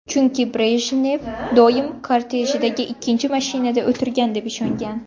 Chunki Brejnev doim kortejidagi ikkinchi mashinada o‘tirgan deb ishongan.